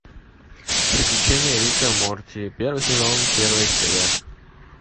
приключения рика и морти первый сезон первая серия